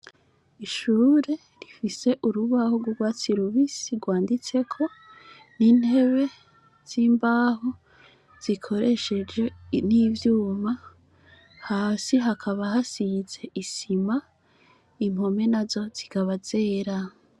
Ishure rifise urubaho rwurwatsi rubisi rwanditseko n'intebe z'imbaho zikoresheje n'ivyuma hasi hakaba hasize isima impome na zo zikaba zera.